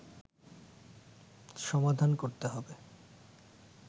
সমাধান করতে হবে